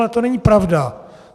Ale to není pravda.